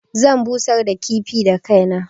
Zan busar da kifin da kaina.